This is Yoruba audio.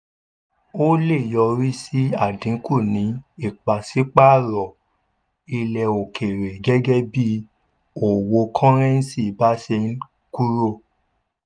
ó lè yọrí sí àdínkù ní ìpàsípààrọ̀ ilẹ̀ òkèèrè gẹ́gẹ́ bí owó kọ́rẹ́ńsì bá ṣe kúrò.